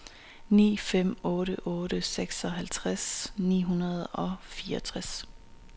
ni fem otte otte seksoghalvtreds ni hundrede og fireogtres